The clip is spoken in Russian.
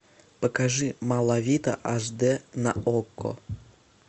покажи малавита аш дэ на окко